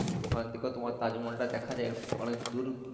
ওখান থেকে তোমার তাজমহলটাও দ্যাখা যাই অনেক